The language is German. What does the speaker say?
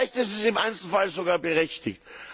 Vielleicht ist es im Einzelfall sogar berechtigt.